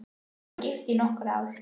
Ég var gift í nokkur ár.